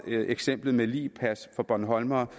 eksemplet med ligpas for bornholmere